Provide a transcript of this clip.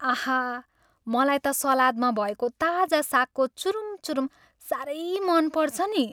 आहा! मलाई त सलादमा भएको ताजा सागको चुरुम चुरुम साह्रै मन पर्छ नि।